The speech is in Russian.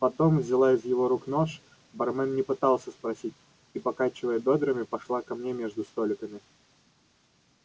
потом взяла из его рук нож бармен не пытался спросить и покачивая бёдрами пошла ко мне между столиками